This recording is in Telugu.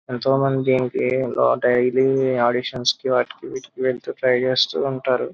ఎంతోమంది దినికి డైలీ ఆడిషన్స్ వాటికి వీటికి వెళ్తు ట్రై చేస్తూ ఉంటారు.